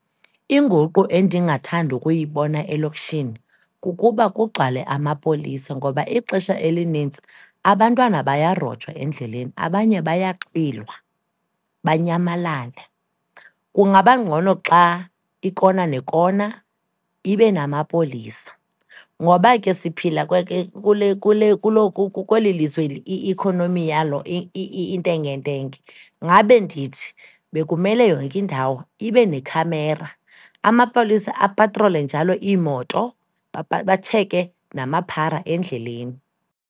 Inguqu endingathanda ukuyibona elokishini, kukuba kugcwale amapolisa ngoba ixesha elinintsi abantwana bayarojwa endleleni, abanye bayaxhwilwa, banyamalale. Kungaba ngcono xa ikona nekona ibe namapolisa. Ngoba ke siphila kweli lizwe i-economy yalo intengentenge, ngabe ndithi, bekumele yonke indawo ibe nekhamera, amapolisa apatrole njalo iimoto, batsheke namaphara endleleni.